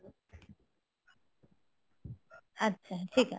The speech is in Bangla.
আচ্ছা ঠিক আছে